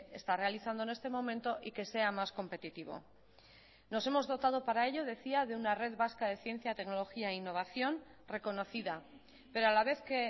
está realizando en este momento y que sea más competitivo nos hemos dotado para ello decía de una red vasca de ciencia tecnología e innovación reconocida pero a la vez que